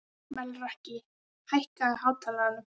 Melrakki, hækkaðu í hátalaranum.